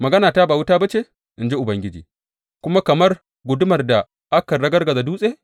Maganata ba wuta ba ce, in ji Ubangiji, kuma kamar gudumar da kan ragargaza dutse?